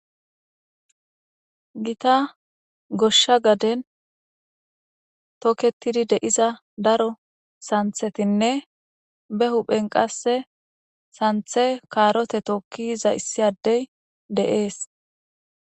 Gita goshsha gaden toketidi de'iza daro sanththetinne be huphen qasse sanththe kaarote tookki yiza issi addey de'es.